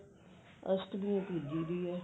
ਅਸ਼ਟਮੀ ਪੁਜੀ ਦੀ ਆ